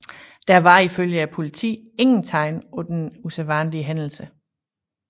Der var ifølge politiet ingen tegn på en usædvanlig hændelse